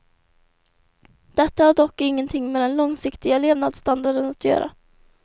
Detta har dock ingenting med den långsiktiga levnadsstandarden att göra.